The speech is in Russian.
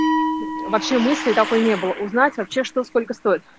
вообще мысли такой не было узнать вообще что сколько стоит